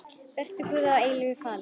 Vertu Guði að eilífu falinn.